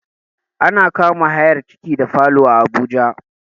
Ana kama hayar ciki da rumfaa Abuja